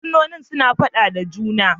Fursunonin suna fada da juna.